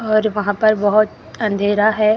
और वहां पर बहोत अंधेरा है।